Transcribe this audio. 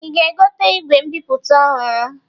Ị ga-egote igwe mbipụta ọhụrụ?